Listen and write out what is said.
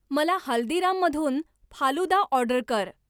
मला हल्दीराममधून फालुदा ऑर्डर कर